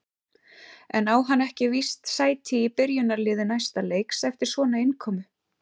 En á hann ekki víst sæti í byrjunarliði næsta leiks eftir svona innkomu?